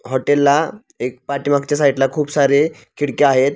Hotel ला एक पाठीमागच्या साईट ला खूप सारे खिडक्या आहेत.